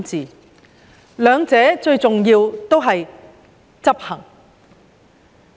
關於這兩方面，最重要的都是執行。